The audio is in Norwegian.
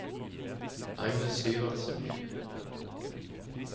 Agnes Syvertsen